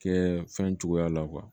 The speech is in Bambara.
Kɛ fɛn cogoya la